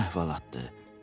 Uzun əhvalatdır.